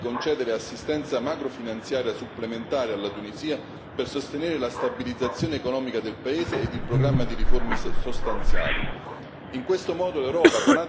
Va accolta con favore la proposta di concedere assistenza macrofinanziaria supplementare alla Tunisia per sostenere la stabilizzazione economica del paese e il programma di riforme sostanziali.